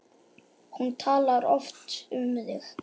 Hún talar oft um þig